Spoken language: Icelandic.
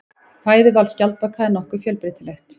Fæðuval skjaldbaka er nokkuð fjölbreytilegt.